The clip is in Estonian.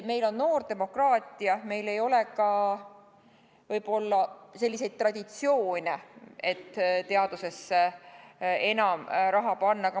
Meil on noor demokraatia, meil ei ole ka võib-olla selliseid traditsioone, et teadusesse enam raha panna.